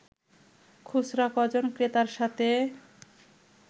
খুচরা কজন ক্রেতার সাথে